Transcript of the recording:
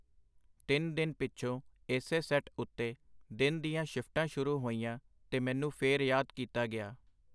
ਤਿੰਨ ਦਿਨ ਪਿਛੋਂ ਏਸੇ ਸੈੱਟ ਉਤੇ ਦਿਨ ਦੀਆਂ ਸ਼ਿਫਟਾਂ ਸ਼ੁਰੂ ਹੋਈਆਂ ਤੇ ਮੈਨੂੰ ਫੇਰ ਯਾਦ ਕੀਤਾ ਗਿਆ.